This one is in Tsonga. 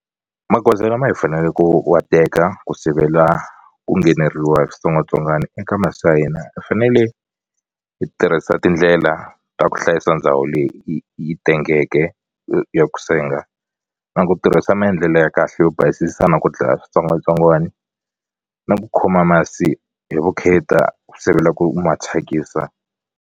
Magoza lama hi faneleko ku wa teka ku sivela ku ngheneriwa hi switsongwatsongwani eka masi ya hina hi fanele hi tirhisa tindlela ta ku hlayisa ndhawu leyi yi tengeke ya ku senga na ku tirhisa maendlelo ya kahle yo basisa na ku dlaya switsongwatsongwana na ku khoma masi hi vukheta ku sivela ku ma thyakisa.